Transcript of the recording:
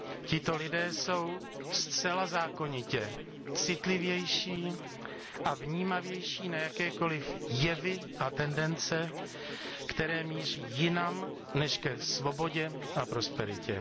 Tito lidé jsou zcela zákonitě citlivější a vnímavější na jakékoli jevy a tendence, které míří jinam než ke svobodě a prosperitě.